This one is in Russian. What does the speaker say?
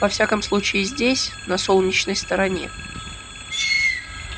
во всяком случае здесь на солнечной стороне